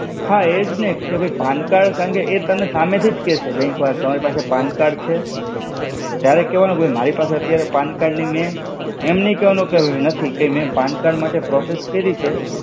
હા એ જ ને કે ભૈ pan card કેમેકે એ તમને સામે થી જ કેશે bank વાળા કે તમારી પાસે pan card છે? તારે કેવાનું કે મારી પાસે અત્યારે pan card ની મેં, એમ નઈ કેવાનું કે નથી, કે મેં pan card માટે process કઈરી છે